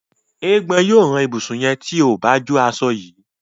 Eégbọn yíò ràn ibusùn yén tíó bá jọ aṣọ yí